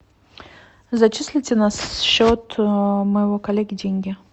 зачислите на счет моего коллеги деньги